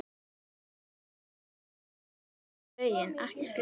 Áfram veginn ekur glaður.